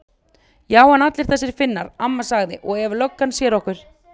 Já en allir þessir Finnar. amma sagði. og ef löggan sér okkur.